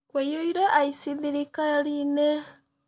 Kũiyũire aici thirikari-inĩ.